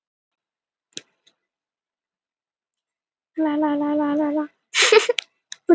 María hafði heitið varð hún ævarandi ráðskona klaustursins, en hafði munk sér til aðstoðar.